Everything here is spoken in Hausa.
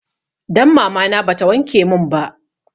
Dan mamana ba ta wanke mun ba